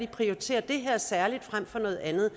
prioriterer det her frem for noget andet